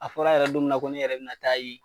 A fɔra yɛrɛ don min na ko ne yɛrɛ bi na taa yen